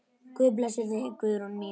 Guð blessi þig, Guðrún mín.